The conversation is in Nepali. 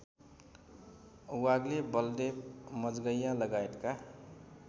वाग्ले बलदेव मजगैंयालगायतका